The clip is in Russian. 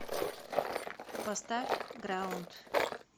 поставь граунд